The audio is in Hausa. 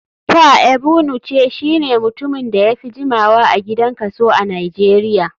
Pa egbunuce shine mutumin da yafi jimawa a gidan kaso a nijeria.